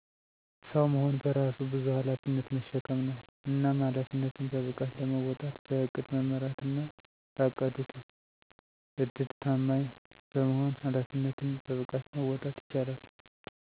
ሰዉ መሆን በራሱ በዙ ኃላፊነትን መሸከም ነዉ። እናም ኃላፊነትን በብቃት ለመወጣት በዕቅድ መመራትና ላቀዱት ዕድድ ታማኝ በመሆን ኃላፊነትን በብቃት መወጣት ይቻላል።